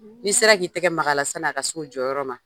N'i sera k'i tɛgɛ maga a la sanni a ka s'o jɔyɔrɔ ma.